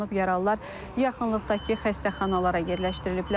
Yaralılar yaxınlıqdakı xəstəxanalara yerləşdiriliblər.